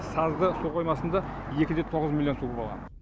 сазды су қоймасында екі де тоғыз миллион су болған